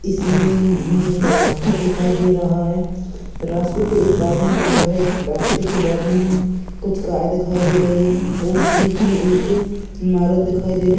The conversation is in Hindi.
इसी में इं हमे एक रास्ता दिखाई दे रहा है रास्ते पे एक आदमी चल रहा है रास्ते के बाजू मे कुछ गाय दिखाई दे रही है और बीच मे एक इमारत दिखाई दे रही है।